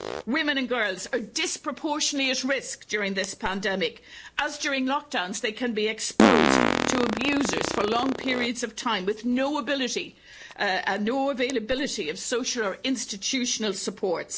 Women and girls are disproportionately at risk during this pandemic as, during lockdowns, they can be exposed to abusers for long periods of time with no availability of social or institutional support.